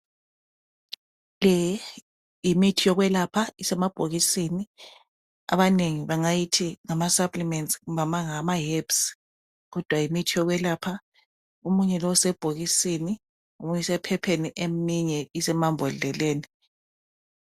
Le yimithi yokwelapha esemabhokisini abanengi bengayithi mama samplimenti kumbe ama hebhu kodwa yimithi yokwelapha . Omunye lo usebhokisini omunye emaphepheni eminye amambodleleni .